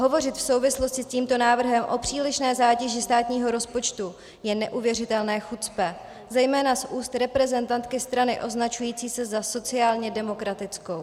Hovořit v souvislosti s tímto návrhem o přílišné zátěži státního rozpočtu je neuvěřitelné chucpe, zejména z úst reprezentantky strany označující se za sociálně demokratickou.